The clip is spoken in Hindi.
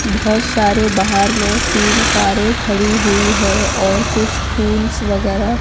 बहोत सारे बाहर में तीन कारे खड़ी हुई है और कुछ फूल्स वगैरा--